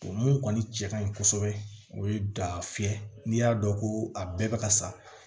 O mun kɔni cɛ kaɲi kosɛbɛ o ye da fiyɛ n'i y'a dɔn ko a bɛɛ bɛ ka sa